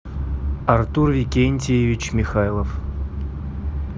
артур викентьевич михайлов